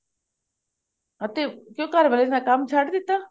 ਅਤੇ ਕਿਉਂ ਘਰ ਵਾਲੇ ਨੇ ਕੰਮ ਛੱਡ ਦਿੱਤਾ